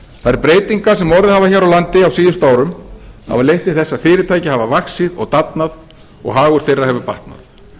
þær breytingar sem orðið hafa hér á landi á síðustu árum hafa leitt til þess að fyrirtæki alla vaxið og dafnað og hagur þeirra hefur batnað